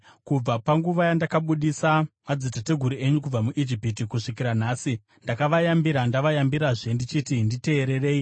Kubva panguva yandakabudisa madzitateguru enyu kubva muIjipiti kusvikira nhasi, ndakavayambira ndavayambirazve ndichiti, “Nditeererei.”